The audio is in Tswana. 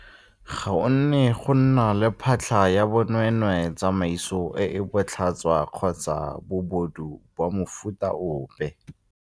Ga go ne go nna le phatlha ya bonweenweee, tsamaiso e e botlhaswa kgotsa bobodu ba mofuta ope.